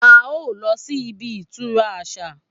A o lọ síbi ìtura àṣà